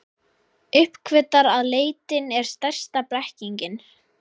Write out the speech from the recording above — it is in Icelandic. Uppgötvar að leitin er stærsta blekkingin.